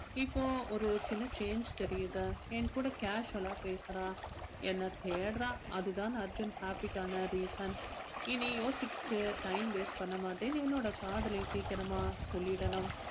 இப்போ ஒரு சின்ன change தெரியுது என் கூட casual ஆ பேசுறா என்ன தேடுறா அது தான் அர்ஜுன் happy க்கான reason இனி யோசிச்சு time waste பண்ண மாட்டேன் என்னோட காதலை சீக்கிரமா சொல்லிடனும்